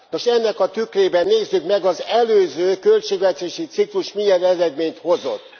Nos, ennek a tükrében nézzük meg, az előző költségvetési ciklus milyen eredményt hozott.